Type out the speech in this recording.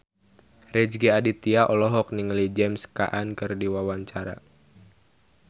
Rezky Aditya olohok ningali James Caan keur diwawancara